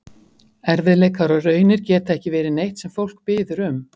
Erfiðleikar og raunir geta ekki verið neitt sem fólk biður um.